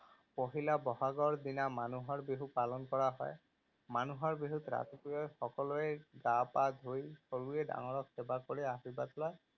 পহিলা বহাগৰ দিনা মানুহৰ বিহু পালন কৰা হয়। মানুহৰ বিহুত ৰাতিপুৱাই সকলোৱে গা পা ধুই সৰুৱে ডাঙৰক সেৱা কৰি আশীৰ্বাদ লয়।